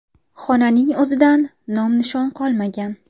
Xonaning o‘zidan nom-nishon qolmagan.